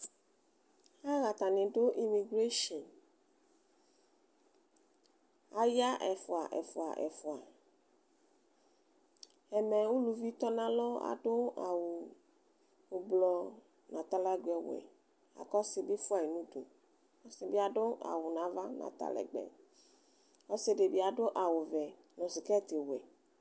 Atani dʋ imigreshin aya ɛfʋa ɛfʋa ɛfʋa ɛmɛ ʋlʋvi tɔnʋ alɔ adʋ awʋ ʋblɔ nʋ atalɛgbɛ ɔwɛ kʋ ɔsi bi fʋayi nʋ ʋdʋ ɔsi yɛ bi adʋ awʋ nʋ ava nʋ atalɛgbɛ ɔsidi bi adʋ awʋvɛ nʋ sketiwɛ